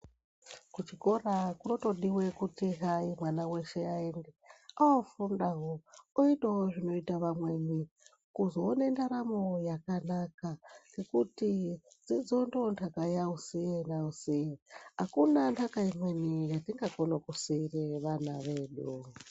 Kuchikora kunotodiwa kuti hayi mwana weshe ayende. Unofundawo, oitawo zvinoitawo anweni kuzowone ndaramo yakanaka ngekuti dzidzo ndiyo ntaka yausinyausi. Akuna ntaka imweni yatingakona kusira vana vedu.